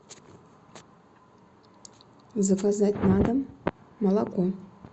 заказать на дом молоко